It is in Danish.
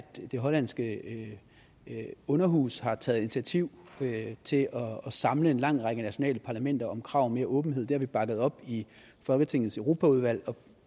det hollandske underhus har taget initiativ til at samle en lang række nationale parlamenter om et krav om mere åbenhed det har vi bakket op i folketingets europaudvalg